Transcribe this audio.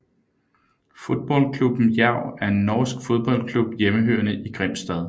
Fotballklubben Jerv er en norsk fodboldklub hjemmehørende i Grimstad